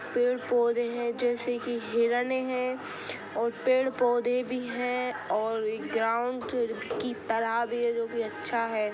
पेड़-पौधे है जैसे कि हिरने है और पेड़-पौधे भी है और ग्राउंड की तरह भी है जो की अच्छा है।